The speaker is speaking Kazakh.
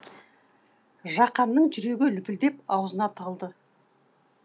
жақанның жүрегі лүпілдеп аузына тығылды